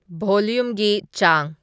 ꯚꯣꯂꯨꯝꯒꯤ ꯆꯥꯡ